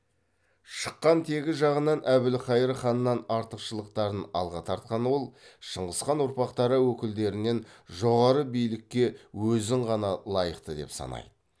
шыққан тегі жағынан әбілқайыр ханнан артықшылықтарын алға тартқан ол шыңғыс хан ұрпақтары өкілдерінен жоғары билікке өзін ғана лайықты деп санайды